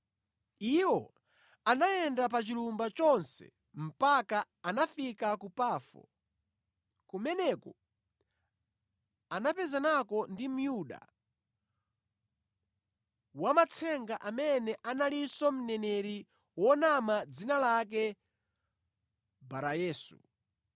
Iwo anayenda pa chilumba chonse mpaka anafika ku Pafo, kumeneko anapezanako ndi Myuda, wamatsenga amene analinso mneneri wonama dzina lake Barayesu.